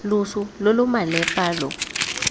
loso lo lo malepa lo